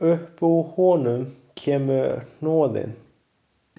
Upp úr honum kemur hnoðinn.